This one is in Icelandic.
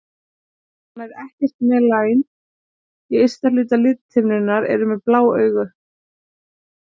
Þeir sem hafa nær ekkert melanín í ysta hluta lithimnunnar eru með blá augu.